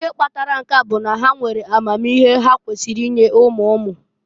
Ihe kpatara nke a bụ maka na ha nwere amamihe ha kwesiri inye umu umu.